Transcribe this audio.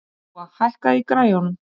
Dúa, hækkaðu í græjunum.